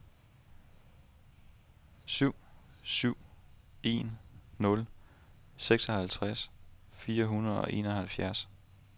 syv syv en nul seksoghalvtreds fire hundrede og enoghalvfjerds